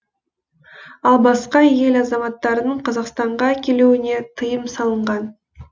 ал басқа ел азаматтарының қазақстанға келуіне тыйым салынған